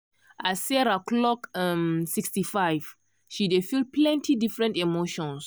as sarah clock um 65 she dey feel plenty different emotions.